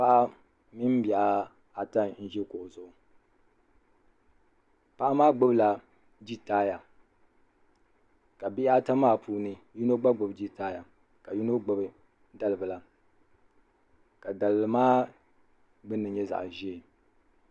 paɣa mini bihi ata n-ʒi kuɣu zuɣu paɣa maa gbubi la gitaaya ka bihi ata maa puuni yino gba gbubi gitaaya ka yino gbubi talibila ka talibila maa gbuuni nyɛ zaɣ' ʒee.